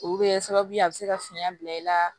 Olu bɛ kɛ sababu ye a bɛ se ka fiɲɛ bila i la